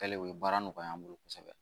Kɛlen o ye baara nɔgɔya n bolo kosɛbɛ